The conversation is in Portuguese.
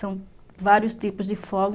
São vários tipos de fogos.